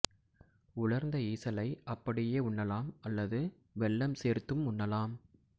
உலர்ந்த ஈசலை அப்படியே உண்ணலாம் அல்லது வெல்லம் சேர்த்தும் உண்ணலாம்